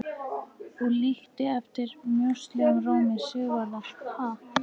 Og líkti eftir mjóslegnum rómi Sigvarðar: Ha?